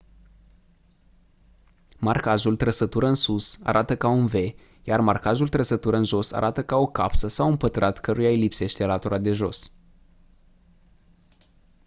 marcajul «trăsătură în sus» arată ca un v iar «marcajul «trăsătură în jos» arată ca o capsă sau un pătrat căruia îi lipsește latura de jos.